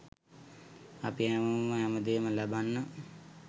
අපි හැමෝම හැමදේම ලැබන්න